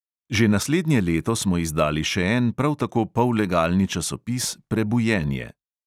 Že naslednje leto smo izdali še en prav tako pollegalni časopis "prebujenje".